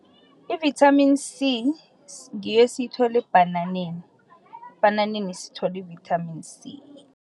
I-Vitamini C ngiyo esiyithola ebhananeni, ebhananeni sithola i-Vitamin C.